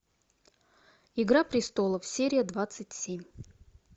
игра престолов серия двадцать семь